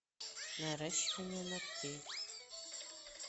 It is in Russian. наращивание ногтей